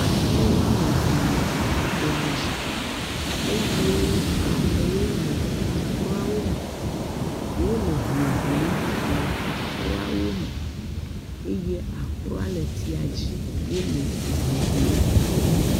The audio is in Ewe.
Akro woame eve le tɔ dzi eye amewo le akroawo me. Wole ho ʋlim le akroawo me eye akroa le etsia dzi wole eho ʋlim.